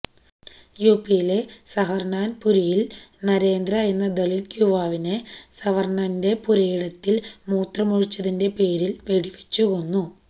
യുപിയിലെ സഹറാന്പുരില് നരേന്ദ്രയെന്ന ദളിത് യുവാവിനെ സവര്ണന്റെ പുരയിടത്തില് മൂത്രമൊഴിച്ചതിന്റെ പേരില് വെടിവച്ചുകൊന്നു